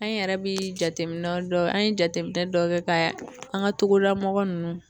An yɛrɛ bɛ jateminɛ dɔ ,an ye jateminɛ dɔ kɛ ka an ka togodala mɔgɔ ninnu